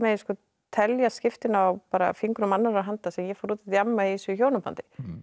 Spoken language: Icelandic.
telja skiptin á fingrum annarrar handar sem ég fór út að djamma í þessu hjónabandi